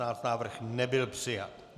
Návrh nebyl přijat.